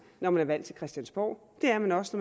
når man er valgt til christiansborg det er man også